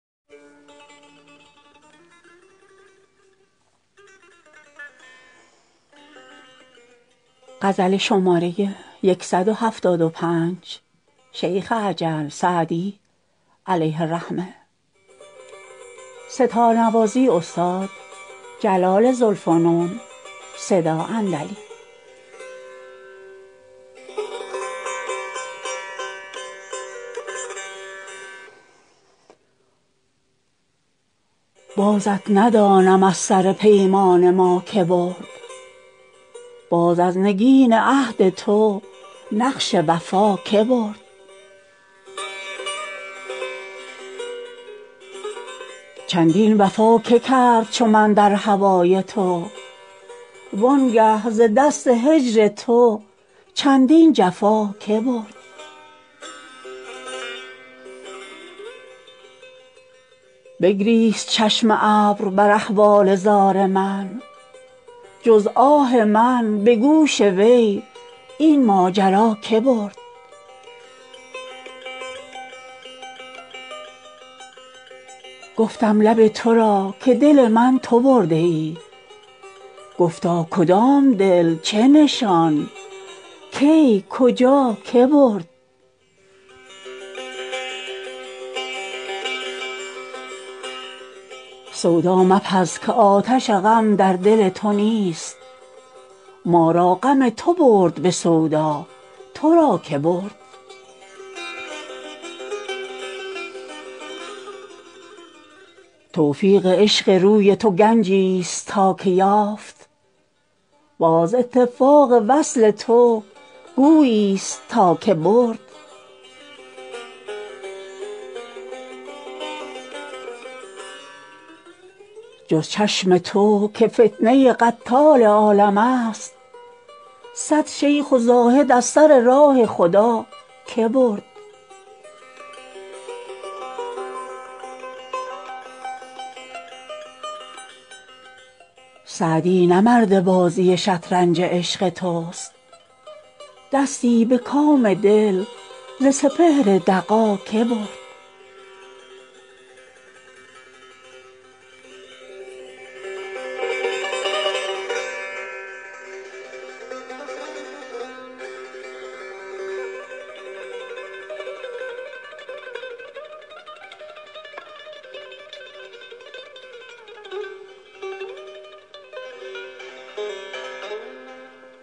بازت ندانم از سر پیمان ما که برد باز از نگین عهد تو نقش وفا که برد چندین وفا که کرد چو من در هوای تو وان گه ز دست هجر تو چندین جفا که برد بگریست چشم ابر بر احوال زار من جز آه من به گوش وی این ماجرا که برد گفتم لب تو را که دل من تو برده ای گفتا کدام دل چه نشان کی کجا که برد سودا مپز که آتش غم در دل تو نیست ما را غم تو برد به سودا تو را که برد توفیق عشق روی تو گنجیست تا که یافت باز اتفاق وصل تو گوییست تا که برد جز چشم تو که فتنه قتال عالمست صد شیخ و زاهد از سر راه خدا که برد سعدی نه مرد بازی شطرنج عشق توست دستی به کام دل ز سپهر دغا که برد